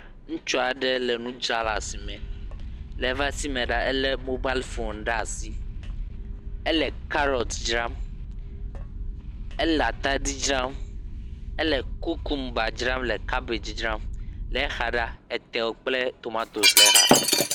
Ŋutsu aɖe le nu dra le asime, le ebe asi me la, elé mobal fon ɖe asi, ele karɔt dzram, ele atadi dzram, ele kukumba dzram, le kabedzi dzram, le exa ɖa, etewo kple tomatosi le xa.